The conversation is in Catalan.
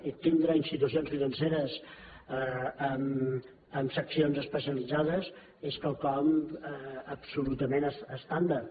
i tindre institucions financeres amb seccions especialitzades és quelcom absolutament estàndard